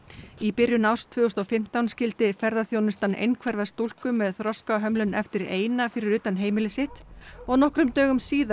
í byrjun árs tvö þúsund og fimmtán skildi ferðaþjónustan einhverfa stúlku með þroskahömlun eftir eina fyrir utan heimili sitt og nokkrum dögum síðar